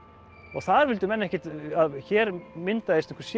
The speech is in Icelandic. og þar vildu menn ekkert að hér myndaðist einhver sér